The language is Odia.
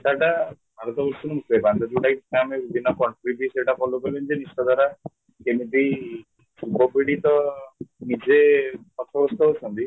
ସେଇଟା alcohol ମିସେଇବା ଯୋଉଟାକି ଆମେ completely ସେଇଟା follow କଲେ ଯେମିତି ଦ୍ଵାରା ଯେମିତି ଯୁବପିଢ଼ିତ ନିଜେ ହତବ୍ୟସ୍ତ ଅଛନ୍ତି